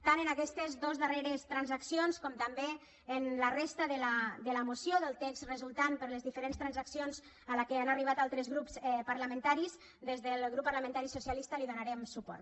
tant a aquestes dos darreres transaccions com també a la resta de la moció del text resultant per les diferents transaccions a què han arribat altres grups parlamentaris des del grup parlamentari socialista hi donarem suport